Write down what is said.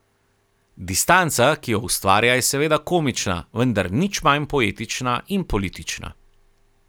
Distanca, ki jo ustvarja, je seveda komična, vendar nič manj poetična in politična.